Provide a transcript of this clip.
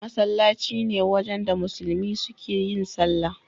Masallaci ne wajen da musulmi suke yin sallah.